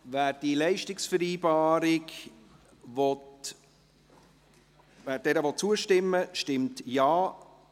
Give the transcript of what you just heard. – Wer dieser Leistungsvereinbarung zustimmen will, stimmt Ja,